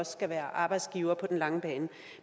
skal være arbejdsgiver på den lange bane